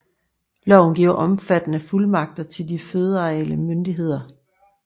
Loven giver omfattende fuldmagter til de føderale myndigheder